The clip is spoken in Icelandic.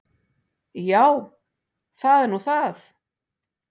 Já, það er nú það.